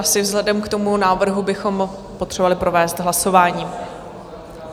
Asi vzhledem k tomu návrhu bychom potřebovali provést hlasováním.